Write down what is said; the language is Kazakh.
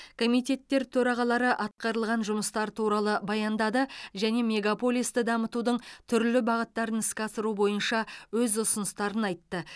комитеттер төрағалары атқарылған жұмыстар туралы баяндады және мегаполисті дамытудың түрлі бағыттарын іске асыру бойынша өз ұсыныстарын айтты